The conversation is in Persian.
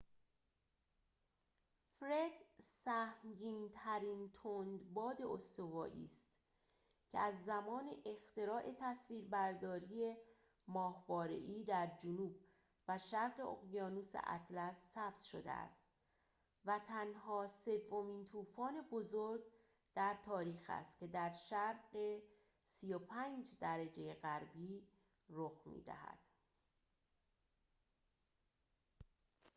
فرِد سهمگین‌ترین تندباد استوایی است که از زمان اختراع تصویربرداری ماهواره‌ای در جنوب و شرق اقیانوس اطلس ثبت شده است و تنها سومین طوفان بزرگ در تاریخ است که در شرق ۳۵ درجه غربی رخ می‌دهد